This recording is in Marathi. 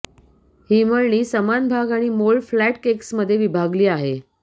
ही मळणी समान भाग आणि मोल्ड फ्लॅट केक्समध्ये विभागली आहे